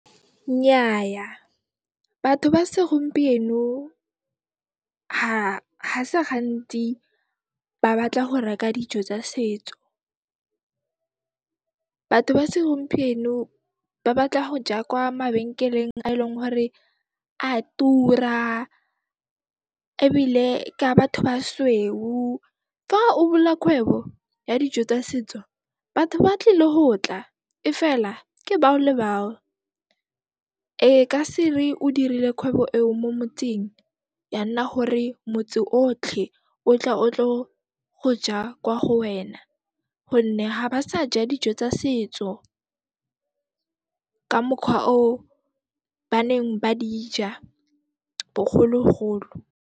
Nnyaya, batho ba segompieno ha se gantsi ba batla go reka dijo tsa setso. Batho ba segompieno ba batla ho ja kwa mabenkeleng a e leng hore a tura ebile ke a batho basweu. Fa o bula kgwebo ya dijo tsa setso, batho ba tlile ho tla, e fela ke bao le bao. E ka se re o dirile khwebo eo mo motseng, ya nna hore motse otlhe o tla o tlo go ja kwa go wena gonne ga ba sa ja dijo tsa setso ka mokgwa o ba neng ba di ja bogologolo.